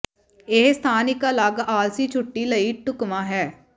ਇਹ ਸਥਾਨ ਇੱਕ ਅਲੱਗ ਆਲਸੀ ਛੁੱਟੀ ਲਈ ਢੁਕਵਾਂ ਹੈ